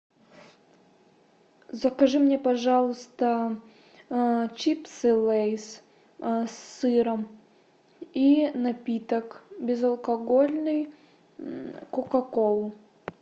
закажи мне пожалуйста чипсы лейс с сыром и напиток безалкогольный кока колу